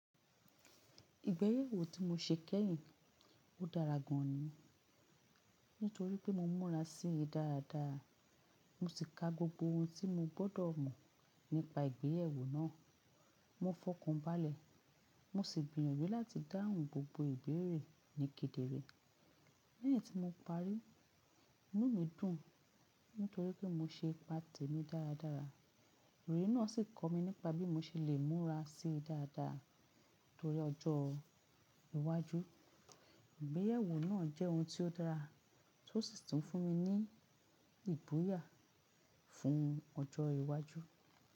Ìgbéyẹ̀wò tí mo ṣe kẹ́yìn dára gan ni, nítorí pé mo múra sí i dáradára. Mo sì ka gbogbo ohun tí mo gbọ́dọ̀ mọ̀ nípa ìgbéyẹ̀wò náà. Mo fọkùnbalẹ̀ mo sì gbìyànjú láti dáhùn gbogbo ìbéèrè ní kedere. Lẹ́yìn tí mo parí, inú mi dùn nítorí pé mo se ipa tèmi dáradára. Olùyẹ náà sì kọ́ mi nípa bí mo ṣe lè múra sí i dáradára nítorí ọjọ́ iwájú. Ìgbéyẹ̀wò náà jẹ́ ohun tí ó dára, tó sì tún fún mi ní ìbúyà fún ọjọ́ iwájú.